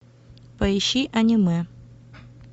поищи аниме